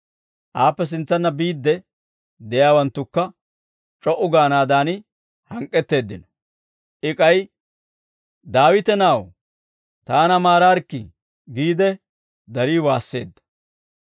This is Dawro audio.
Aappe sintsanna biidde de'iyaawanttukka, c'o"u gaanaadan hank'k'etteeddino. I k'ay, «Daawite na'aw, taana maaraarikkii» giide darii waasseedda.